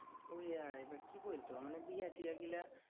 ওইআয় এবার কি বলতো? মানে বিহা টিহা গুলা